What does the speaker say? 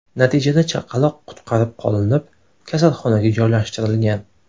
Natijada chaqaloq qutqarib qolinib, kasalxonaga joylashtirilgan.